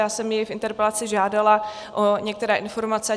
Já jsem jej v interpelaci žádala o některé informace.